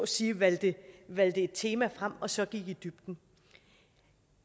sige valgte et tema og så gik i dybden